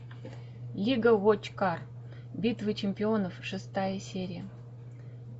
лига вочкар битва чемпионов шестая серия